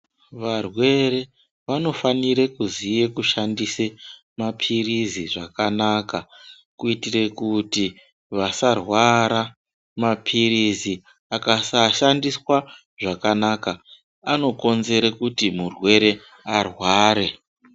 Varwere vanofanire kuziya kushandise mapirizi zvakanaka kuitira kuti vasarwara. Mapirizi akasashandiswa zvakanaka anokonzere kuti murwere arware.